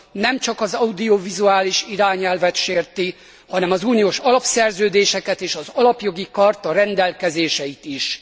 Nem csak az audiovizuális irányelvet sérti, hanem az uniós alapszerződéseket és az Alapjogi Charta rendelkezéseit is.